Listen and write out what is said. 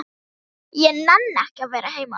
Ég nenni ekki að vera heima.